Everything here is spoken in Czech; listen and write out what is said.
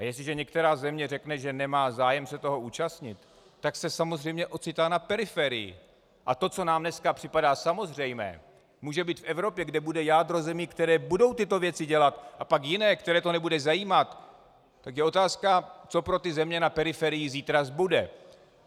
A jestliže některá země řekne, že nemá zájem se toho účastnit, tak se samozřejmě ocitá na periferii, a to, co nám dneska připadá samozřejmé, může být v Evropě, kde bude jádro zemí, které budou tyto věci dělat, a pak jiné, které to nebude zajímat, tak je otázka, co pro ty země na periferiích zítra zbude.